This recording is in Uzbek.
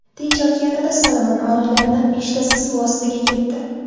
Tinch okeanida Solomon orollaridan beshtasi suv ostiga ketdi.